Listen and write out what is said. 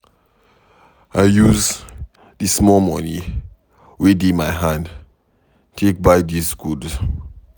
I use di small moni we dey my hand take buy dis goods.